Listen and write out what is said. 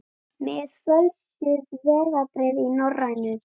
Með fölsuð vegabréf í Norrænu